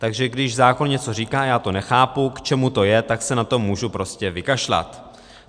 Takže když zákon něco říká a já to nechápu, k čemu to je, tak se na to můžu prostě vykašlat.